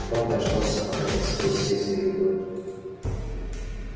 том дождался пока тот скрылся из виду